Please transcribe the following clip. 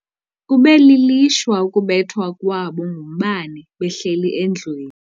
Kube lilishwa ukubethwa kwabo ngumbane behleli endlwini.